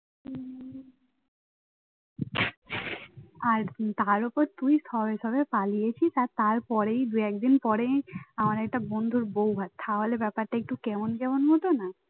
আর তার ওপর তুই সবে সবে পালিয়েছিস আর তারপরেই দু একদিন পরেই আমার একটা বন্ধুর বৌভাত তাহলে ব্যাপারটা একটু কেমন কেমন মতো না